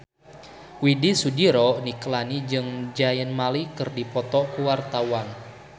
Widy Soediro Nichlany jeung Zayn Malik keur dipoto ku wartawan